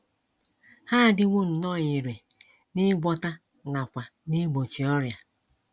Ha adịwo nnọọ irè n’ịgwọta nakwa n’igbochi ọrịa.